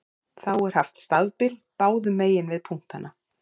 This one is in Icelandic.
Þá er haft stafbil báðum megin við punktana.